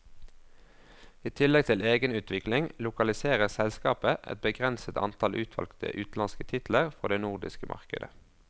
I tillegg til egenutvikling, lokaliserer selskapet et begrenset antall utvalgte utenlandske titler for det nordiske markedet.